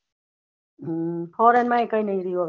હમ foreign માં કાય નહી રેહવું હવે